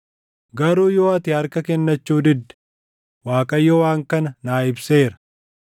Garuu yoo ati harka kennachuu didde, Waaqayyo waan kana naa ibseera: